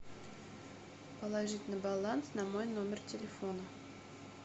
положить на баланс на мой номер телефона